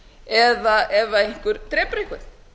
eða ef einhver drepur einhvern